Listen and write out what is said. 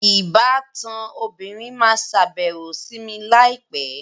Ìbátan obìnrin máa sàbẹ̀wò sì mi láì pẹ́